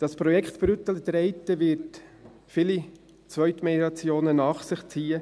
Das Projekt Brüttelen-Treiten wird viele Zweitmeliorationen nach sich ziehen.